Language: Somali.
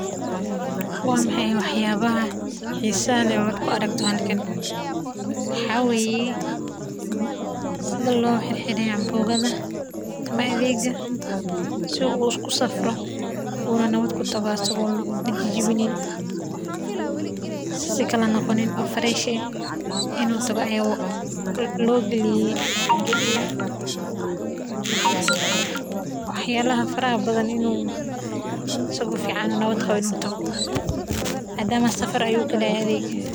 Wa maxay wax yaabaha xiisaha leh oo aad ku aragto halkan waxaa waye sida loo xire adeega si uu ku tago asaga oo wax noqonin asaga oo nawda qabo inuu tago.